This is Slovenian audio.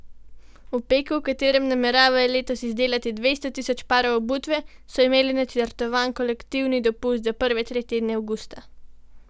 V Peku, v katerem nameravajo letos izdelati dvesto tisoč parov obutve, so imeli načrtovan kolektivni dopust za prve tri tedne avgusta.